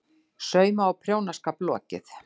SAUMA- OG PRJÓNASKAP LOKIÐ